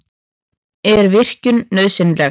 Er virkjun nauðsynleg?